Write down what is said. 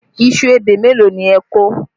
Iṣu ebè mélòó ni ẹ kọ?